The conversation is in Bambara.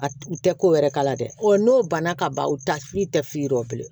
A u tɛ ko wɛrɛ k'a la dɛ n'o banna ka ban u t'a i tɛ fiye dɔ bilen